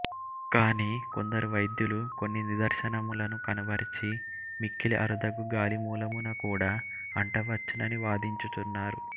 కాని కొందరు వైద్యులు కొన్ని నిదర్శనములను కనుబరచి మిక్కిలి అరుదుగ గాలి మూలమున కూడా అంట వచ్చునని వాదించు చున్నారు